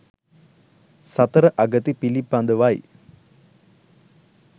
සතර අගති පිළිබඳවයි